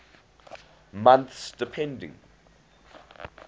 months depending